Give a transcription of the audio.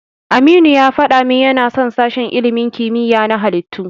Aminu ya faɗa min yana son sashen ilimin kimiyya na halittu.